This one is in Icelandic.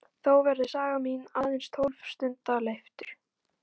Þó verður saga mín aðeins tólf stunda leiftur.